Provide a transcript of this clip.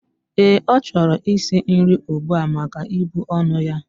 Ee, ochoro is nrii ugbua maka ibu onu ya.